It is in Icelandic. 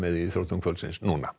í íþróttum kvöldsins